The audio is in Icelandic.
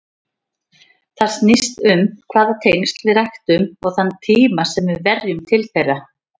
Það snýst um hvaða tengsl við ræktum og þann tíma sem við verjum til þeirra.